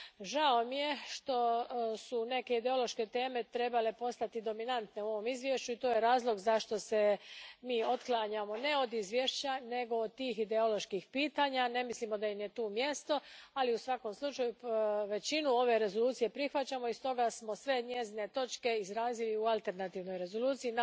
Žao mi je što su neke ideološke teme trebale postati dominantne u ovom izvješću i to je razlog zašto se mi otklanjamo, ne od izvješća nego od tih ideoloških pitanja ne mislimo da im je tu mjesto, ali u svakom slučaju većinu ove rezolucije prihvaćamo i stoga smo sve njezine točke izrazili u alternativnoj rezoluciji.